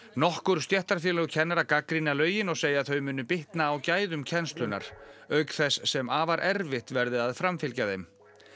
nokkur stéttarfélög kennara gagnrýna lögin og segja að þau muni bitna á gæðum kennslunnar auk þess sem afar erfitt verði að framfylgja þeim